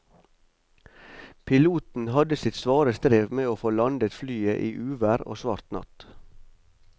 Piloten hadde sitt svare strev med å få landet flyet i uvær og svart natt.